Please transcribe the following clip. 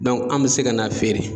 an bɛ se ka na feere.